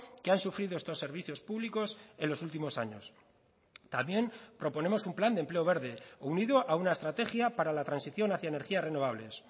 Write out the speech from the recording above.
que han sufrido estos servicios públicos en los últimos años también proponemos un plan de empleo verde unido a una estrategia para la transición hacia energías renovables